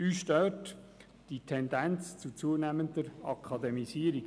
Uns stört die Tendenz zur zunehmenden Akademisierung.